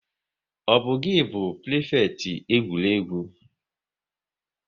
Ọ bu gi bu prifekiti egwuregwu?